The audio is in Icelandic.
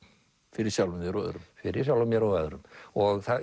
fyrir sjálfum þér og öðrum fyrir sjálfum mér og öðrum og